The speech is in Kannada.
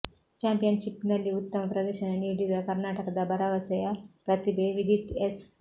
ಚಾಂಪಿಯನ್ಷಿಪ್ನಲ್ಲಿ ಉತ್ತಮ ಪ್ರದರ್ಶನ ನೀಡಿರುವ ಕರ್ನಾಟಕದ ಭರ ವಸೆಯ ಪ್ರತಿಭೆ ವಿದಿತ್ ಎಸ್